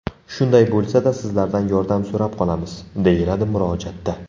Shunday bo‘lsa-da, sizlardan yordam so‘rab qolamiz”, deyiladi murojaatda.